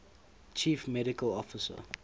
chief medical officer